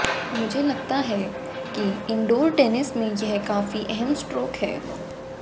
मुझे लगता है कि इंडोर टेनिस में यह काफी अहम स्ट्रोक है